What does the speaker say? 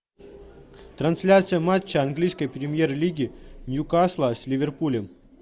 трансляция матча английской премьер лиги ньюкасла с ливерпулем